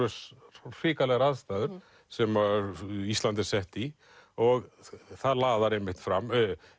hrikalegar aðstæður sem að Ísland er sett í og það laðar einmitt fram